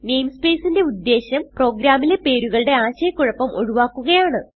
namespace ന്റെ ഉദേശ്യം പ്രോഗ്രാമിലെ പേരുകളുടെ ആശയ കുഴപ്പം ഒഴിവാക്കുകയാണ്